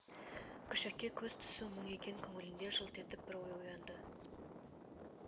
күшікке көз түсу мұң екен көңілінде жылт етіп бір ой оянды